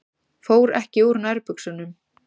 Fór ekki úr nærbuxunum.